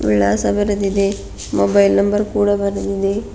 ವಿಳಾಸ ಬರೆದಿದೆ mobile number ಕೂಡ ಬರೆದಿದೆ.